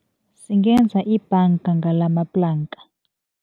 Singenza ibhanga ngalamaplanka.